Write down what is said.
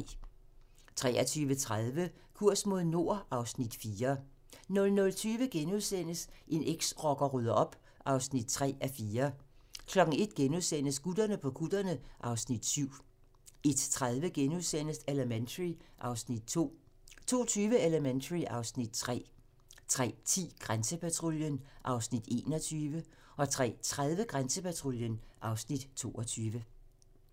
23:30: Kurs mod nord (Afs. 4) 00:20: En eksrocker rydder op (3:4)* 01:00: Gutterne på kutterne (Afs. 7)* 01:30: Elementary (Afs. 2)* 02:20: Elementary (Afs. 3) 03:10: Grænsepatruljen (Afs. 21) 03:30: Grænsepatruljen (Afs. 22)